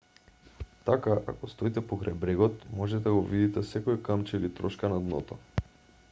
така ако стоите покрај брегот можете да го видите секое камче или трошка на дното